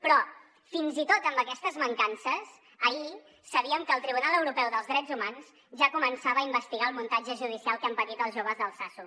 però fins i tot amb aquestes mancances ahir sabíem que el tribunal europeu dels drets humans ja començava a investigar el muntatge judicial que han patit els joves d’altsasu